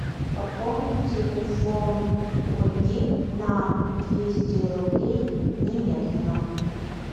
пополнить телефон ольги на двести рублей немедленно